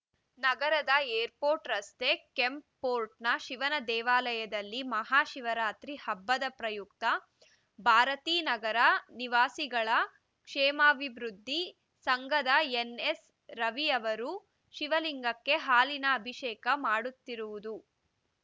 ನಗರದ ಏರ್‌ಪೋರ್ಟ್‌ ರಸ್ತೆ ಕೆಂಪ್‌ಪೋರ್ಟ್‌ನ ಶಿವನ ದೇವಾಲಯದಲ್ಲಿ ಮಹಾ ಶಿವರಾತ್ರಿ ಹಬ್ಬದ ಪ್ರಯುಕ್ತ ಭಾರತೀನಗರ ನಿವಾಸಿಗಳ ಕ್ಷೇಮಾಭಿವೃದ್ಧಿ ಸಂಘದ ಎನ್ಎಸ್ರವಿಯವರು ಶಿವಲಿಂಗಕ್ಕೆ ಹಾಲಿನ ಅಭಿಷೇಕ ಮಾಡುತ್ತಿರುವುದು